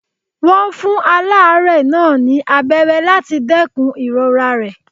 Wọ́n fún aláárẹ̀ náà ní abẹ́rẹ́ láti dẹ́kun ìrora rẹ̀.